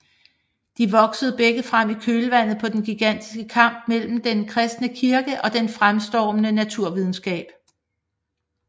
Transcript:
De voksede begge frem i kølvandet på den gigantiske kamp mellem den kristne kirke og den fremstormende naturvidenskab